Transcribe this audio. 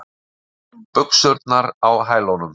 Buxurnar á hælunum.